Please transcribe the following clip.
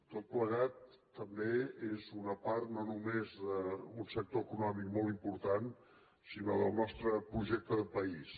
tot plegat també és una part no només d’un sector econòmic molt important sinó del nostre projecte de país